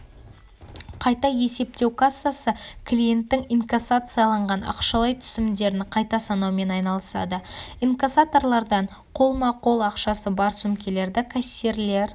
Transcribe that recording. қайта есептеу кассасы клиенттің инкассацияланған ақшалай түсімдерін қайта санаумен айналысады инкассаторлардан қолма-қол ақшасы бар сөмкелерді кассирлер